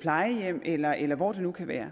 plejehjem eller eller hvor det nu kan være